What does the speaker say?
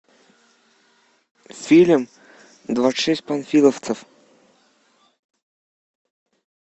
фильм двадцать шесть панфиловцев